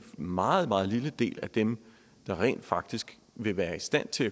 meget meget lille del af dem der rent faktisk vil være i stand til